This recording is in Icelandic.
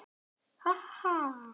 Ha, ha!